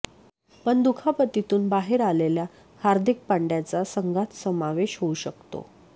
पण दुखापतीतून बाहेर आलेल्या हार्दिक पांडय़ाचा संघात समावेश होऊ शकतो